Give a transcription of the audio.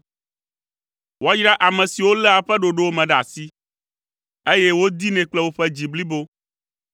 Woayra ame siwo léa eƒe ɖoɖowo me ɖe asi, eye wodinɛ kple woƒe dzi blibo.